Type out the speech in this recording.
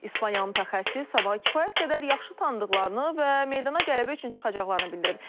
İspaniyalı mütəxəssis sabahı kifayət qədər yaxşı tanıdıqlarını və meydana qələbə üçün çıxacaqlarını bildirib.